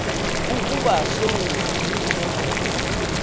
ukuba sewunayo inombolo